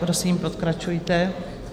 Prosím, pokračujte.